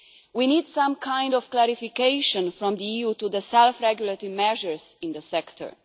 We need some kind of clarification from the EU on the self regulatory measures in the sector.